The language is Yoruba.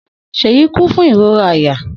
Seyi ku fun irora àyà.